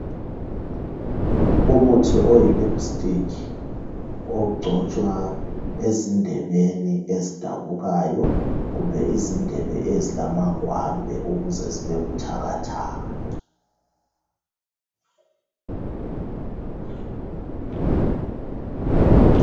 umuthi oyi lipstick ogcotshwa ezindebeni ezidabukayo kumbe izindebeni ezilamangwambe ukuze zibe buthakathaka